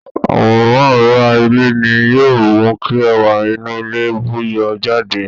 Àwòrán ara ilé ni yóò mú kí ẹwà inú ilé bú yọ jáde